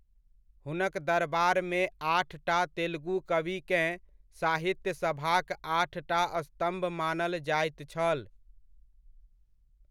हुनक दरबारमे आठटा तेलुगु कविकेँ साहित्यसभाक आठटा स्तम्भ मानल जाइत छल।